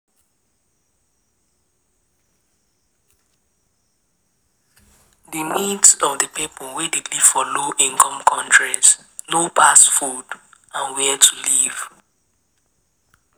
Di needs of di Pipo wey dey live for low income countries no pass food and where to live